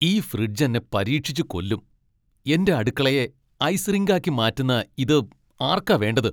ഈ ഫ്രിഡ്ജ് എന്നെ പരീക്ഷിച്ച് കൊല്ലും. എന്റെ അടുക്കളയെ ഐസ് റിങ്കാക്കി മാറ്റുന്ന ഇത് ആർക്കാ വേണ്ടത്?